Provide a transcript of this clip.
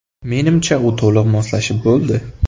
Menimcha, u to‘liq moslashib bo‘ldi.